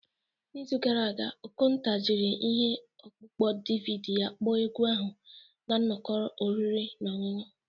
N'izu gara aga, Okonta jiri ihe ọkpụkpọ DVD ya kpọọ egwu ahụ na nnọkọ oriri na ọṅụṅụ